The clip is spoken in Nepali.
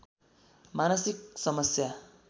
मानसिक समस्या